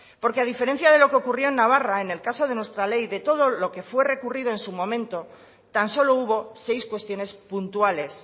porque a diferencia de lo que ocurrió en navarra en el caso de nuestra ley de todo lo que fue recurrido en su momento tan solo hubo seis cuestiones puntuales